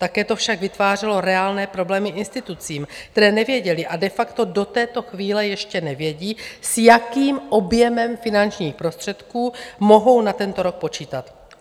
Také to však vytvářelo reálné problémy institucím, které nevěděly a de facto do této chvíle ještě nevědí, s jakým objemem finančních prostředků mohou na tento rok počítat.